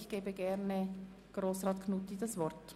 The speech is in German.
Ich gebe ihm das Wort.